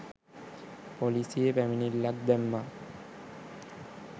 පොලිසියේ පැමිණිල්ලක්‌ දැම්මා